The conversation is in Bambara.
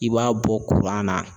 I b'a bɔ kuran na